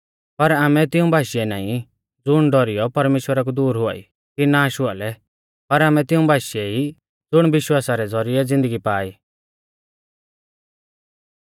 पर आमै तिऊं बाशीऐ नाईं ज़ुण डौरीयौ परमेश्‍वरा कु दूर हुआई कि नाश हुआ लै पर आमै तिऊं बाशीऐ ई ज़ुण विश्वासा रै ज़ौरिऐ ज़िन्दगी पा ई